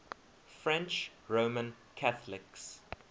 french roman catholics